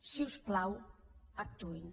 si us plau actuïn